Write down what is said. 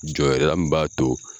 Jɔyɔrɔ mun b'a to